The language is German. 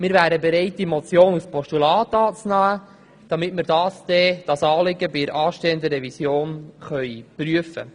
Wir wären bereit, diese Motion als Postulat anzunehmen, damit wir dieses Anliegen bei der anstehenden Revision prüfen können.